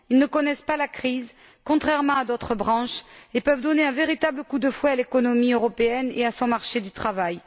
ils ne connaissent pas la crise, contrairement à d'autres branches, et peuvent donner un véritable coup de fouet à l'économie européenne et à son marché du travail.